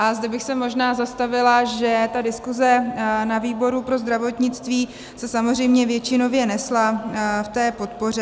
A zde bych se možná zastavila, že ta diskuze na výboru pro zdravotnictví se samozřejmě většinově nesla v té podpoře.